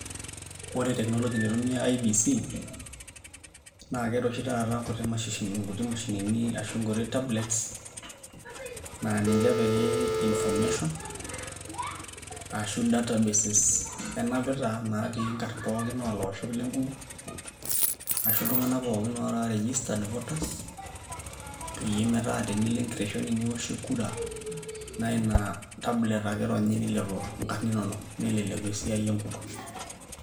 Ore teknology naitumia IEBC, naa keeta oshi taata nkuti mashinini ashu nkuti tablets naa ninche epiki information ashu databases enapita naatii nkarn olaoshok pookin le nkukuo ashu iltung'anak pookin ootaa registered voters peyie metaa tenilo enkiteshoni nioshie kura naa ina tablets ake ironyi nilepu inkarn inonok, neleleku esiai e nkukuo.